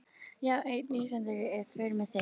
Já, einn Íslendingur er í för með þeim.